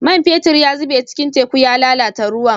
Man fetur ya zube cikin teku ya lalata ruwan